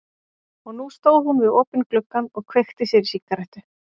Og nú stóð hún við opinn gluggann og kveikti sér í sígarettu.